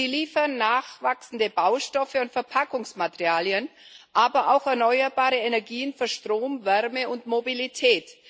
Sie liefern nachwachsende Baustoffe und Verpackungsmaterialien, aber auch erneuerbare Energien für Strom, Wärme und Mobilität.